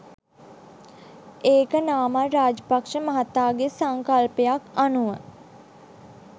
ඒක නාමල් රාජපක්‍ෂ මහතාගේ සංකල්පයක් අනුව